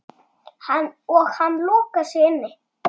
Og hann lokar sig inni.